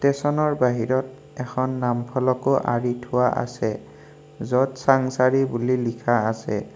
তেচনৰ বাহিৰত এখন নাম ফলকো আৰি থোৱা আছে য'ত চাংচাৰি বুলি লিখা আছে।